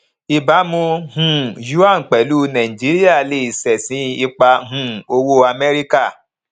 ìbámu um yuan pẹlú nàìjíríà lè ṣẹsìn ipa um owó amẹríkà